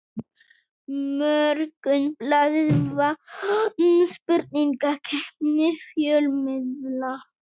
Morgunblaðið vann spurningakeppni fjölmiðla